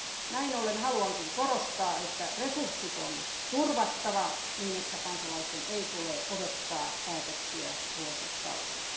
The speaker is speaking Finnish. Näin ollen haluankin korostaa, että resurssit on turvattava niin että kansalaisten ei tule odottaa päätöksiä vuosikausia.